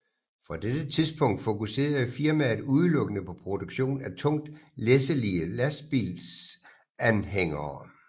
Fra dette tidspunkt fokuserede firmaet udelukkende på produktion af tungt læsselige lastbilsanhængere